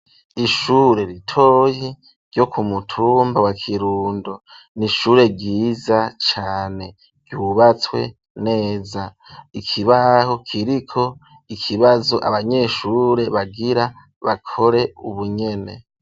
Ishure ritoyi ryo ku mutumba wa kirundo, nishure riza cane, ryubatswe neza, ikibaho kiriko ikibazo ,abanyeshure bagira bakore ubunyene.